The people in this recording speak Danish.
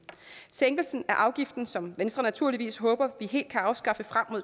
sænkelsen af afgiften som venstre naturligvis håber vi helt kan afskaffe frem mod